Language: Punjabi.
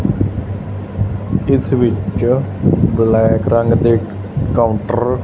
ਇਸ ਵਿੱਚ ਬਲੈਕ ਰੰਗ ਦੇ ਕਾਊਂਟਰ --